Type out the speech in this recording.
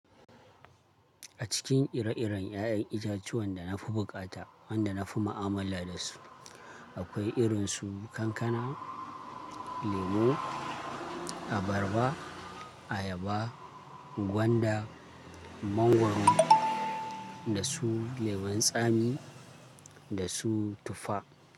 A cikin ire-iren 'ya'yan itatuwan da na fi buƙata wanda na fi ma'amala da su, akwai irin su kankana, lemu, abarba, ayaba, gwanda, mangwaro, da su lemun tsami da su tuffa.